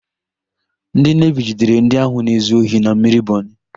Ndị Nevi jidere ndị ahụ na-ezu ohi na mmiri Bọnị.